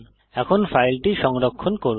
এখন ফাইলটি সংরক্ষণ করুন